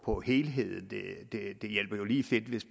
på helheden det hjælper jo lige fedt hvis